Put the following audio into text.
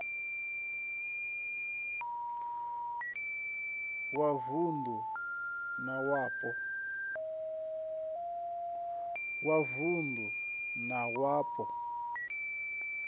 wa vund u na wapo